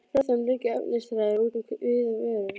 Frá þeim liggja efnisþræðir út um víða veröld.